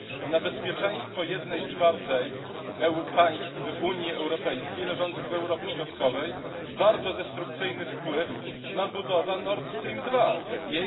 Na bezpieczeństwo jednej czwartej państw Unii Europejskiej leżących w Europie Środkowej bardzo destrukcyjny wpływ ma budowa Nordstream II.